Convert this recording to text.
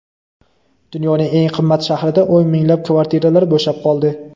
Dunyoning eng qimmat shahrida o‘n minglab kvartiralar bo‘shab qoldi.